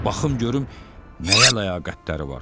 Baxım görüm nəyə ləyaqətləri var.